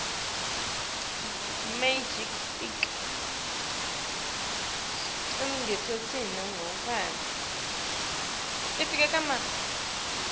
ekugcineni kwetimphendvulo tabo